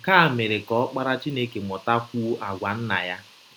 Nke a mere ka Ọkpara Chineke mụtakwụọ àgwà Nna ya.